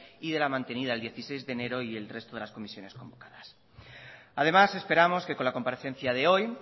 y de la mantenida el dieciséis de enero y el resto de las comisiones convocadas además esperamos que con la comparecencia de hoy